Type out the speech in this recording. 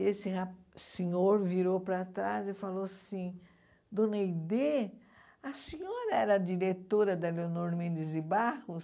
E esse ra senhor virou para trás e falou assim, Dona Aidê, a senhora era diretora da Leonor Mendes de Barros?